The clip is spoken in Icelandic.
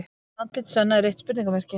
Andlit Svenna er eitt spurningamerki.